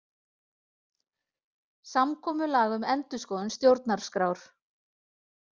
Samkomulag um endurskoðun stjórnarskrár